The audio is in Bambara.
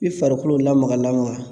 I farikolo lamaga lamaga